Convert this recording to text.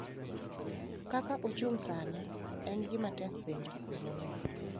Kaka ochung’ sani, en gima tek penjo gimomiyo.